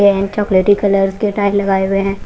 And chocolatey colour के tyre लगाए हुए हैं।